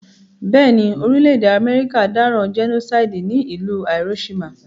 Béèni, orílẹ̀dè America dáràn genocide ní ìlú Hiroshima